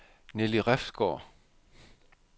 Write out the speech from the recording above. Nelly Refsgaard